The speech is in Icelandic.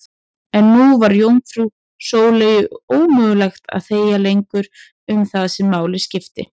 En nú var jómfrú Sóleyju ómögulegt að þegja lengur um það sem máli skipti.